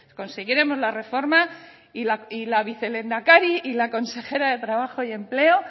conseguiremos la reforma y la vicelehendakari y la consejera de trabajo y empleo